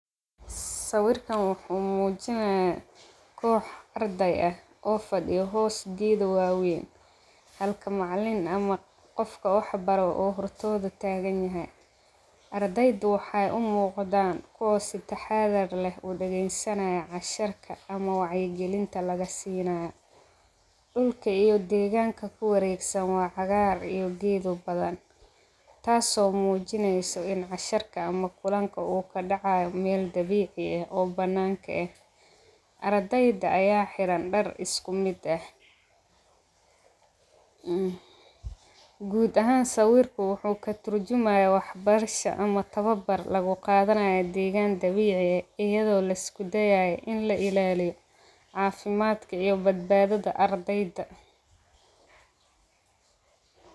Sawirkan waxuu muujinaya kox arday ah oo fadhiyo hos geeda wawayn. Halka macalin ama qofka waxbaro u hortooda taaganyahy ardayda waxay u muqdan kuwa si taxadar leh u dageysanaya cashirka ama wacyigelinta lagasiinayo. Dhulka iyo deeganka ku wareegsan waa cagaar iyo geedo badan taaso muujinayso in casharka ama kulanka u kadacayo mel dabiici eh oo bananka eh. Ardayda aya xiran dhar isku mid eh guud ahaan sawirka waxuu katurjumayaa waxbarasha ama tababar laguqaadanaya deegan dabiici eh ayado la isku dayayo in la ilaaliyo caafimadka iyo badbaadada ardayda.